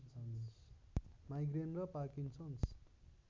migraine र Parkinson's